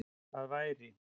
Það væri